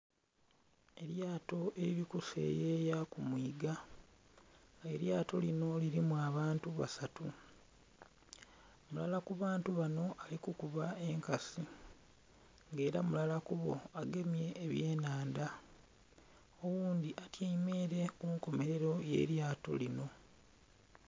Elyato erili ku seyeya ku mwiiga nga elyato linho lilimu abantu basatu mulala ku bantu banho ali kukuba enkasi nga era mulala ku boo agemye ebye nhandha oghundhi atyaime ere kunkomerero ye lyato linho.